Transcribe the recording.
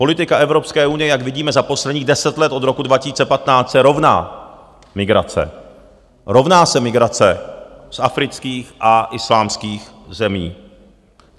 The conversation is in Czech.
Politika Evropské unie, jak vidíme za posledních deset let od roku 2015, se rovná migrace, rovná se migrace z afrických a islámských zemí.